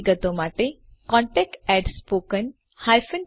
વધુ વિગતો માટે contactspoken tutorialorg પર સંપર્ક કરો